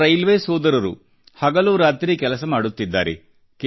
ನಮ್ಮ ರೈಲ್ವೇ ಸೋದರರು ಹಗಲು ರಾತ್ರಿ ಕೆಲಸ ಮಾಡುತ್ತಿದ್ದಾರೆ